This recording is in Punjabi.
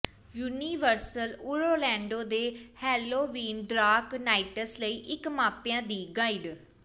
ਯੂਨੀਵਰਸਲ ਓਰਲੈਂਡੋ ਦੇ ਹੈਲੋਵਿਨ ਡਰਾਕ ਨਾਈਟਸ ਲਈ ਇੱਕ ਮਾਪਿਆਂ ਦੀ ਗਾਈਡ